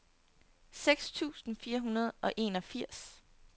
seks tusind fire hundrede og enogfirs